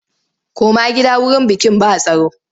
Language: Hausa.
Koma gida wurin bikin ba tsaro!